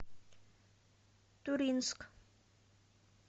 туринск